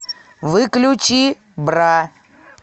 выключи бра